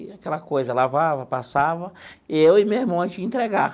E aquela coisa, lavava, passava, e eu e meu irmão, a gente ia entregar.